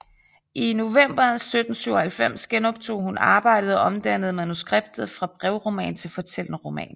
I november 1797 genoptog hun arbejdet og omdannede manuskriptet fra brevroman til fortællende roman